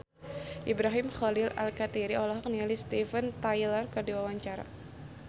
Ibrahim Khalil Alkatiri olohok ningali Steven Tyler keur diwawancara